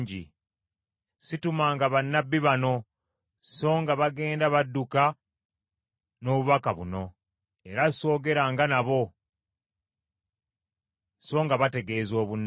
Situmanga bannabbi bano, songa bagenda badduka n’obubaka buno, era sogeranga nabo, songa bategeeza obunnabbi.